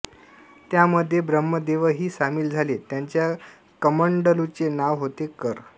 त्यामध्ये ब्रह्मदेवही सामील झाले त्यांच्या कमंडलूचे नाव होते कर